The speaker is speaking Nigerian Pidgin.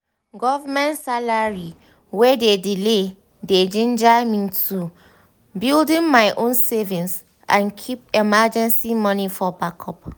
government salary wey dey delay dey ginger me to build my own savings and keep emergency money for backup.